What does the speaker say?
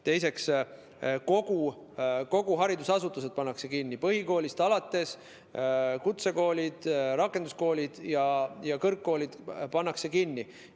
Teiseks, kõik haridusasutused pannakse kinni, põhikoolist alates, ka kutsekoolid, rakenduskoolid ja kõrgkoolid pannakse kinni.